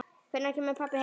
Hvenær kemur pabbi heim?